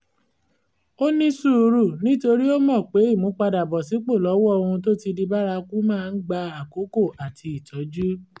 ó ní sùúrù nítorí ó mọ̀ pé ìmúpadàbọ̀sípò lọ́wọ́ ohun tó ti di bárakú máa ń gba àkókò àti ìtọ́jú